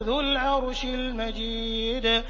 ذُو الْعَرْشِ الْمَجِيدُ